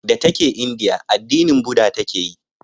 Da ta ke indiya addini buda ta ke yi